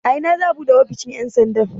A ina za'a buɗe ofishin ƴan sandan?